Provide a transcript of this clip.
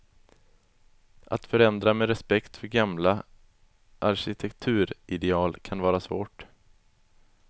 Att förändra med respekt för gamla arkitekturideal kan vara svårt.